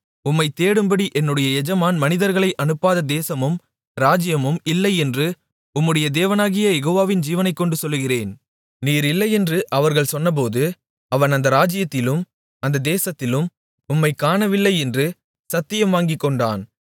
உம்மைத் தேடும்படி என்னுடைய எஜமான் மனிதர்களை அனுப்பாத தேசமும் ராஜ்ஜியமும் இல்லை என்று உம்முடைய தேவனாகிய யெகோவாவின் ஜீவனைக்கொண்டு சொல்லுகிறேன் நீர் இல்லையென்று அவர்கள் சொன்னபோது அவன் அந்த ராஜ்ஜியத்திலும் அந்த தேசத்திலும் உம்மைக் காணவில்லை என்று சத்தியம் வாங்கிக்கொண்டான்